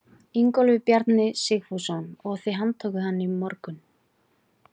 Ingólfur Bjarni Sigfússon: Og þið handtókuð hann í morgun?